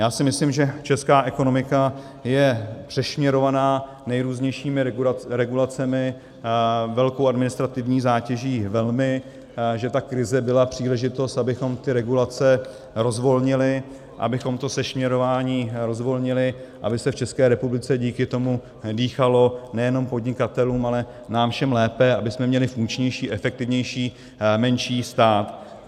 Já si myslím, že česká ekonomika je přešněrovaná nejrůznějšími regulacemi, velkou administrativní zátěží velmi, že ta krize byla příležitost, abychom ty regulace rozvolnili, abychom to sešněrování rozvolnili, aby se v České republice díky tomu dýchalo, nejenom podnikatelům, ale nám všem lépe, abychom měli funkčnější, efektivnější, menší stát.